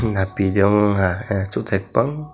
napi de wngha ah totai bong.